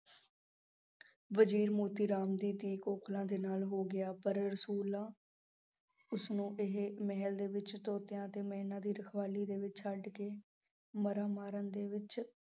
ਵਜ਼ੀਰ ਮੋਤੀ ਰਾਮ ਦੀ ਧੀ ਕੋਕਲਾਂ ਦੇ ਨਾਲ ਹੋ ਗਿਆ ਪਰ ਰਸੂਲਾਂ, ਉਸਨੂੰ ਇਹ ਮਹਿਲ ਦੇ ਵਿੱਚ ਤੋਤਿਆਂ ਅਤੇ ਮੈਣਾਂ ਦੀ ਰਖਵਾਲੀ ਦੇ ਵਿੱਚ ਛੱਡ ਕੇ, ਮਾਰਾਂ ਮਾਰਨ ਦੇ ਵਿੱਚ